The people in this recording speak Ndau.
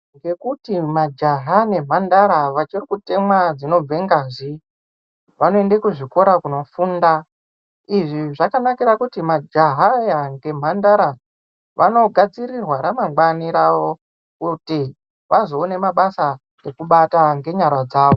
Ngekuti majaha nemhandara vachiri kutemwa dzinobve ngazi vanoende kuzvikora kunofunda. Izvi zvakanakira kuti majaha aya ngemhandara vanogadzirirwa ramangwani rawo kuti vazoone mabasa ekubata ngenyara dzawo.